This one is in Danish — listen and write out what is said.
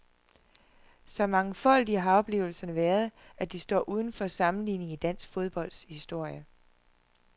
Så mangfoldige har oplevelserne været, at de står uden for sammenligning i dansk fodbolds historie.